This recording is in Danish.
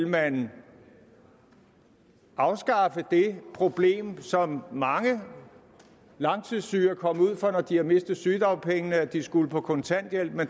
man nu vil afskaffe det problem som mange langtidssyge er kommet ud for når de har mistet sygedagpengene nemlig at de skulle på kontanthjælp men